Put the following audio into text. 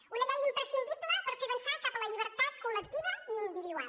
una llei imprescindible per fer avançar cap a la llibertat col·lectiva i individual